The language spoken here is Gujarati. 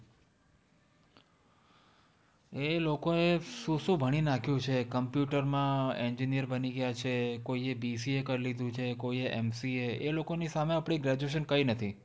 એ લોકોએ શું શું ભણી નાખ્યું છે. computer માં engineer બની ગયા છે. કોઈએ BCA કરી લીધું છે. કોઈએ MCA એ લોકોની સામે આપણી graduation કંઈ નથી.